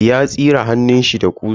Ya tsire hannunshi da ƙusa.